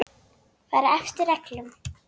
Fara eftir reglum.